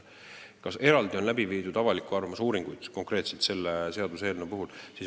Kas eraldi on läbi viidud avaliku arvamuse uuringuid konkreetselt selle seaduseelnõu kohta?